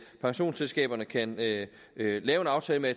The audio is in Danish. så pensionsselskaberne kan lave en aftale med